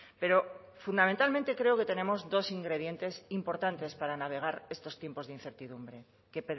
pero fundamentalmente creo que tenemos dos ingredientes importantes para navegar estos tiempos de incertidumbre que